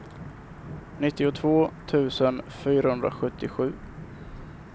nittiotvå tusen fyrahundrasjuttiosju